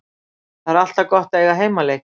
Það er alltaf gott að eiga heimaleiki.